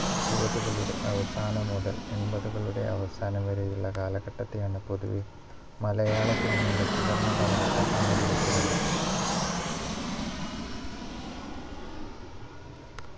എഴുപതുകളുടെ അവസാനം മുതൽ എൺപത് കളുടെ അവസാനം വരെയുള്ള കാലഘട്ടത്തിലാണ് പൊതുവേ മലയാള cinema യുടെ സുവർണ്ണ കാലഘട്ടം എന്ന് വിളിക്കുന്നത്